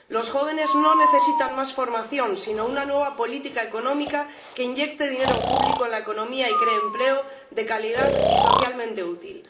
Los jóvenes no necesitan más formación, sino una nueva política económica que inyecte dinero público en la economía y cree empleo de calidad y socialmente útil.